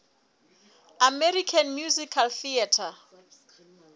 american musical theatre